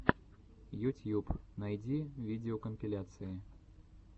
ютьюб найди видеокомпиляции